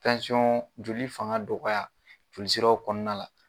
Tansiyɔn, joli fanga dɔgɔya, joli siraw kɔnɔna la